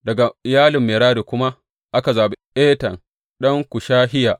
Daga iyalin Merari kuma aka zaɓi Etan ɗan Kushahiya.